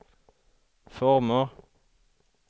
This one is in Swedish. former